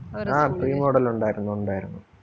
ആ premodel ഒണ്ടാരുന്നു, ഒണ്ടാരുന്നു.